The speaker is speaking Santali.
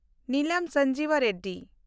ᱱᱤᱞᱟᱢ ᱥᱟᱱᱡᱤᱣᱟ ᱨᱮᱰᱰᱤ